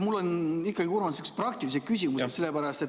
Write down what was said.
Mul on ikkagi, Urmas, siuksed praktilised küsimused.